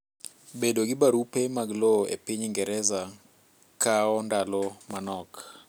Bedo gi barupe mag lowo epiny Ingereza kao ndalo manok.